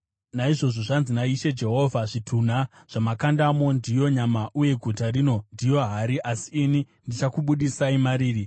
“Naizvozvo zvanzi naIshe Jehovha: Zvitunha zvamakandamo ndiyo nyama uye guta rino ndiyo hari, asi ini ndichakubudisai mariri.